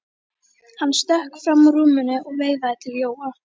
Hann stökk fram úr rúminu og veifaði til Jóa.